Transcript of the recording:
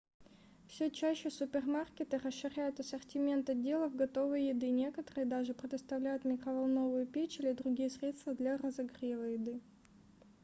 все чаще супермаркеты расширяют ассортимент отделов готовой еды некоторые даже предоставляют микроволновую печь или другие средства для разогрева еды